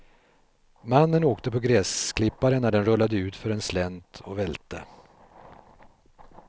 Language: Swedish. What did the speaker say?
Mannen åkte på gräsklipparen när den rullade utför en slänt och välte.